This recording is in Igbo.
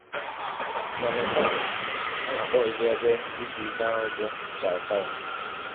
Na Nepal, a na - akpọ ụdị ebe izu ike ahụ bụ chautara.